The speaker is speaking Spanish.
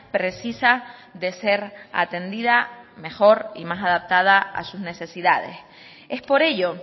precisa de ser atendida mejor y más adaptada a sus necesidades es por ello